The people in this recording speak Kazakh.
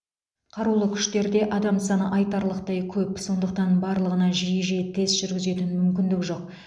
қарулы күштерде адам саны айтарлықтай көп сондықтан барлығына жиі жиі тест жүргізетін мүмкіндік жоқ